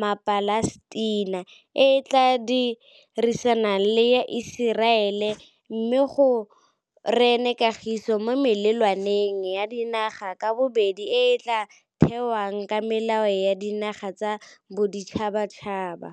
maPalestina e e tla dirisanang le ya Iseraele, mme go rene kagiso mo melelwaneng ya dinaga ka bobedi e e tla thewang ka melao ya dinaga tsa boditšhabatšhaba.